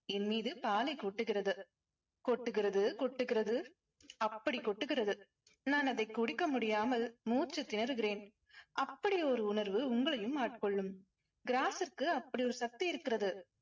என் மீது பாலை கொட்டுகிறது. கொட்டுகிறது கொட்டுகிறது அப்படி கொட்டுகிறது. நான் அதை குடிக்க முடியாமல் மூச்சுத்திணறுகிறேன். அப்படி ஒரு உணர்வு உங்களையும் ஆட்கொள்ளும். gross க்கு அப்படி ஒரு சக்தி இருக்கிறது.